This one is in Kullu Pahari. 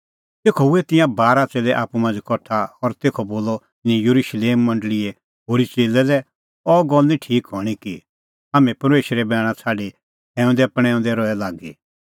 तेखअ हुऐ तिंयां बारा च़ेल्लै आप्पू मांझ़ै कठा और तेखअ बोलअ तिन्नैं येरुशलेम मंडल़ीए होरी च़ेल्लै लै अह गल्ल निं ठीक हणीं कि हाम्हैं परमेशरे बैणा छ़ाडी खैऊंदैपणैंऊंदै रहे लागी